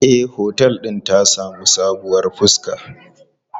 E, otel din ta sami sabuwar fuska.